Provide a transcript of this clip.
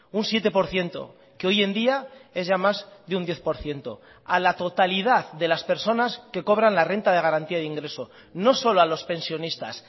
un siete por ciento que hoy en día es ya más de un diez por ciento a la totalidad de las personas que cobran la renta de garantía de ingreso no solo a los pensionistas